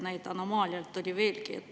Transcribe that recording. Neid anomaaliaid oli veelgi.